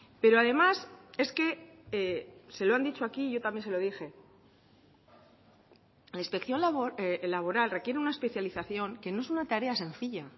pero además es que se lo han dicho aquí yo también se lo dije la inspección laboral requiere una especialización que no es una tarea sencilla